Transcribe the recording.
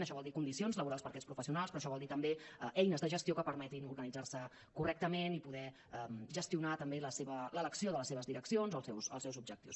això vol dir condicions laborals per aquests professionals però això vol dir també eines de gestió que permetin organitzar se correctament i poder gestionar també l’elecció de les seves direccions dels seus objectius